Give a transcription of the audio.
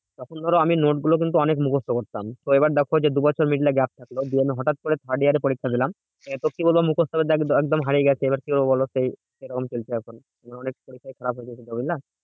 তখন ধরো আমি note গুলো কিন্তু অনেক মুখস্ত করতাম। তো এবার দেখো যে, দু বছর দিয়ে আমি হটাৎ করে third year এ পরীক্ষা দিলাম। এ তো কি বলবো মুখস্ত একদম হারিয়ে গেছে কি করবো বোলো? সেই এরকম চলছে এখন বুঝলা?